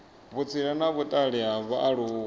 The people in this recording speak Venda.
vhutsila na vhutali ha vhaaluwa